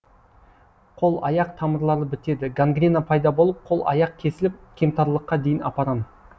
қол аяқ тамырлары бітеді гангрена пайда болып қол аяқ кесіліп кемтарлыққа дейін апарам